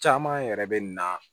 Caman yɛrɛ bɛ na